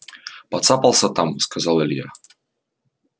поцапался там сказал илья